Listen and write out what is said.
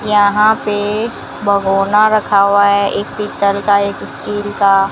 यहां पे एक भगोना रखा हुआ है एक पीतल का एक स्टील का--